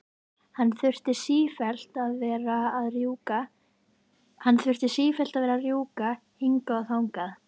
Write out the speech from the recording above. Hann þurfti sífellt að vera að rjúka hingað og þangað.